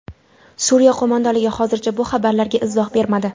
Suriya qo‘mondonligi hozircha bu xabarlarga izoh bermadi.